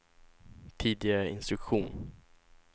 tidigare instruktion